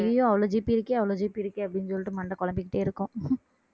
ஐயையோ அவ்வளவு GB இருக்கே அவ்வளவு GB இருக்கே அப்படீன்னு சொல்லிட்டு மண்டை குழம்பிக்கிட்டே இருக்கும்